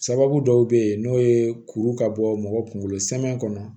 Sababu dɔw be yen n'o ye kuru ka bɔ mɔgɔ kunkolo sɛamɛn kɔnɔ